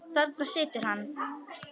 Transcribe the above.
Þarna situr hann.